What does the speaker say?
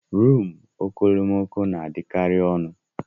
Rumụ okomoko na-adịkari ọnụ.